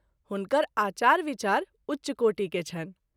हुनकर आचार - विचार उच्च कोटि के छनि।